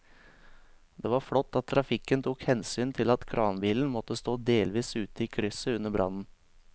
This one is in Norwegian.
Det var flott at trafikken tok hensyn til at kranbilen måtte stå delvis ute i krysset under brannen.